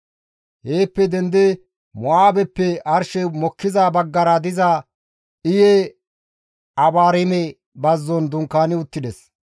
Heeppe dendidi Mo7aabeppe arshey mokkiza baggara diza Iye-Abaarime bazzon dunkaani uttides.